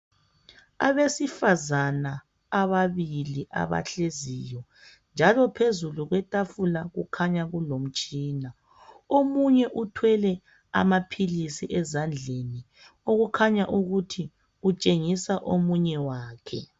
Abesifazana ababili abahleziyo. Njalo phezulu kwetafula kukhanya kulemitshina. Omunye uthwele amaphilisi ezandleni, okukhanya ukuthi utshengisa omunye wakhe.